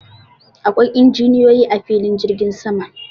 Akwai injiniyoyi a filin jirgin sama.